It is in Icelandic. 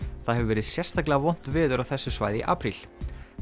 það hefur verið sérstaklega vont veður á þessu svæði í apríl